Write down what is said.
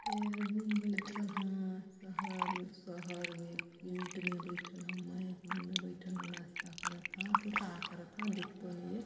ऐ आदमी बइठल हा शहर म शहर में फिल्ट में बइठल हूँ मैज मन में बइठल ह नास्ता करत हा की का करत हा दिख तो नइ हे।